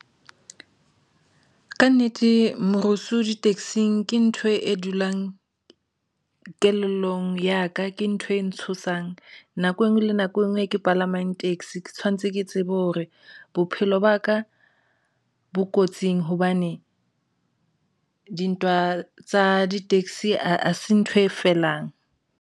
Ka nnete, morusu ditekesing ke ntho e dulang kelellong ya ka ke ntho e ntshosang nako enngwe le nako e nngwe e ke palamang taxi ke tshwanetse ke tsebe hore bophelo ba ka bo kotsing hobane dintwa tsa di-taxi hase ntho e felang.